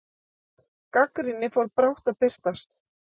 Gagnrýni fór brátt að birtast.